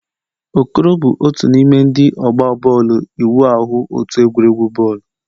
Okoro bụ otu n'ime ndị ọgba bọọlụ ịwụ ahụ otu egwuregwu bọọlụ.